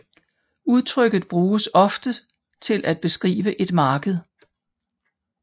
Udtrykket bruges ofte til at beskrive et marked